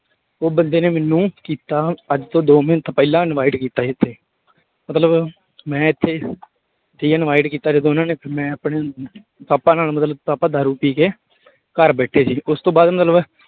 ਉਹ ਬੰਦੇ ਨੇ ਮੈਨੂੰ ਕੀਤਾ ਅੱਜ ਤੋਂ ਦੋ ਮਹੀਨੇ ਪਹਿਲਾਂ invite ਕੀਤਾ ਸੀ ਇੱਥੇ ਮਤਲਬ ਮੈਂ ਇੱਥੇ ਠੀਕ ਹੈ invite ਕੀਤਾ ਜਦੋਂ ਉਹਨਾਂ ਨੇ ਤੇ ਮੈਂ ਆਪਣੇ ਪਾਪਾ ਨਾਲ ਮਤਲਬ ਪਾਪਾ ਦਾਰੂ ਪੀ ਕੇ ਘਰ ਬੈਠੇ ਸੀ ਉਸ ਤੋਂ ਬਾਅਦ ਮਤਲਬ